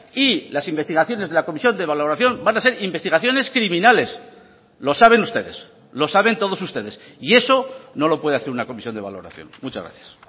y las investigaciones de la comisión de valoración van a ser investigaciones criminales lo saben ustedes lo saben todos ustedes y eso no lo puede hacer una comisión de valoración muchas gracias